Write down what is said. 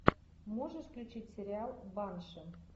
можешь включить сериал банши